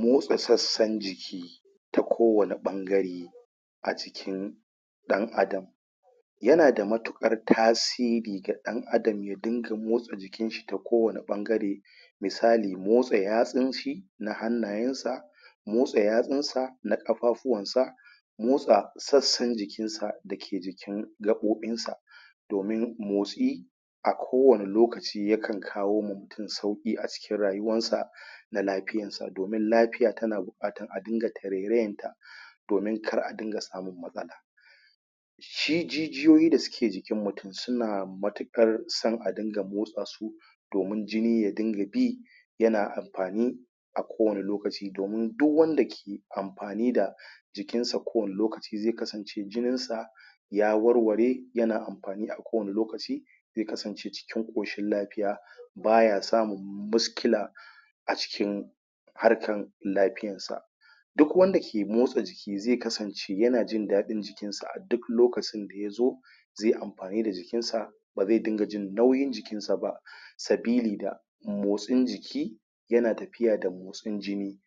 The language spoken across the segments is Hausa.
Motsa sassan jiki ta kowane ɓangare a jikin ɗan'adam yana da matuƙar tasiri ga ɗan'adam ya dinga motsa jikin shi ta kowanne ɓangare misali motsa yatsun shi na hannayen sa motsa yatsun sa na ƙafafuwan sa motsa sassan jikin sa dake jikn gaɓoɓin sa domin motsi a kowani lokaci yakan kawo ma mutun sauƙi a cikin rayuwan sa da lafiyan sa domin lafiya tana buƙatar da dinga tarairayar ta domin kar a dinga samun matsala shi jijiyoyi da suke jikin mutun suna matuƙar san a dinga motsa su domin jini ya dinga bi yana amfani a kowani lokaci domin duk wanda ke amfani da jikin sa kowani lokaci zai kasance jinin sa ya warware yana amfani a kowani lokaci zai kasance cikin ƙoshin lafiya baya samun miskila a cikin harkan lafiyan sa duk wanda ke motsa jiki zai kasance yana jin daɗin jikin sa a duk lokacin da yazo zai amfani da jikin sa ba zai dinga jin nauyin jikin sa ba sabili da motsin jiki yana tafiya da motsin jini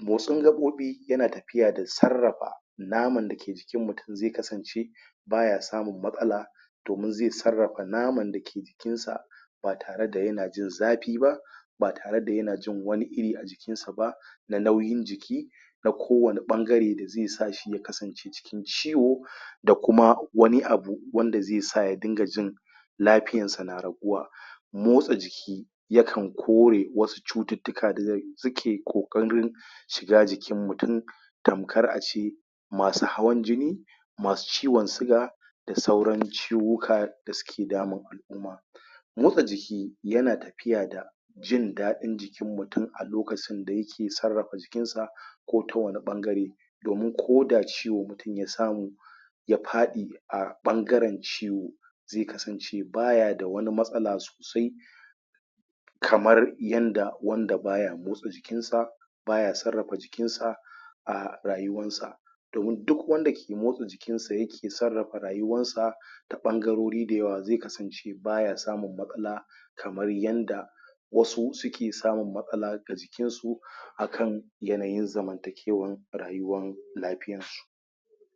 motsin gaɓoɓi yana tafiya da sarrafa naman dake jikin mutun zai kasance baya samun matsala domin zai sarrafa naman da ke jikin sa ba tare da yana jin zafi ba ba tare da yana jin wani iri a jikin sa ba da nauyin jiki na kowani ɓangare zai sa shi ya kasance cikin ciwo da kuma wani abu wanda zai sa ya dinga jin lafiyan sa na raguwa, motsa jiki yakan kore wasu cututtuka da suke ƙoƙarin shiga jikin mutun tamkar a ce masu hawan jini masu ciwon siga da sauran ciwuka da suke damun al'umma motsa jiki yana tafiya da jin daɗin jikin mutun a lokaci da yake sarrafa jikin sa ko ta wani ɓangare domin ko da ciwo mutun ya samu ya faɗi a ɓangaren shi zai kasance baya da wani matsala sosai kamar yanda wanda baya motsa jikin sa baya sarrafa jikin sa a rayuwar sa domin duk wanda ke motsa jikin sa yake sarrafa rayuwan sa ta ɓangarori da yawa zai kasance baya samun matsala kamar yanda wasu suke samun matsala da jikin su yanayin zamantakewan rayuwan lafiyan su.